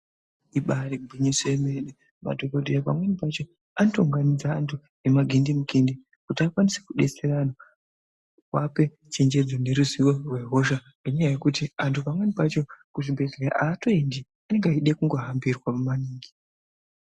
Ibari gwinyiso yemene, madhokoteya pamweni pacho anotounganidza antu nemagindimukindi kuti akwanise kudetsera anhu kuwape chenjedzo neruziwo rwehosha, nenyaya yekuti antu pamweni pacho kuchibhedhleya haatoendi anode kungohambirwa maningi.